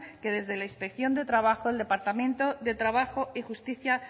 que desde la inspección de trabajo el departamento de trabajo y justicia